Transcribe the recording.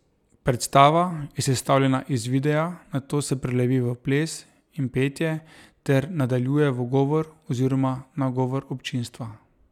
Predstava je sestavljena iz videa, nato se prelevi v ples in petje ter nadaljuje v govor oziroma nagovor občinstva.